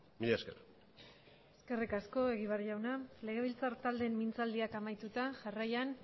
mila esker eskerrik asko egibar jauna legebiltzar taldeen mintzaldiak amaituta jarraian